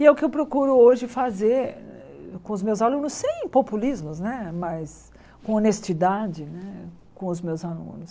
E é o que eu procuro hoje fazer com os meus alunos, sem populismos né, mas com honestidade né com os meus alunos.